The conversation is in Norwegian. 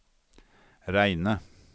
reine